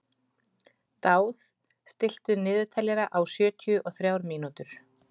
Dáð, stilltu niðurteljara á sjötíu og þrjár mínútur.